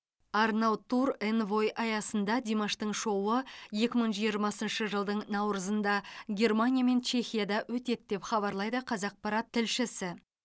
арнау тур энвой аясында димаштың шоуы екі мың жиырмасыншы жылдың наурызында германия мен чехияда өтеді деп хабарлайды қазақпарат тілшісі